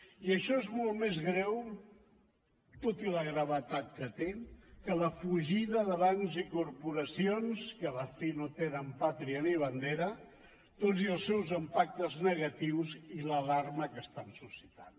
i això és molt més greu tot i la gravetat que té que la fugida de bancs i corporacions que a la fi no tenen pàtria ni bandera tot i els seus impactes negatius i l’alarma que estan suscitant